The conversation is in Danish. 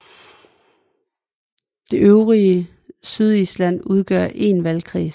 Det øvrige Sydisland udgør én valgkredsen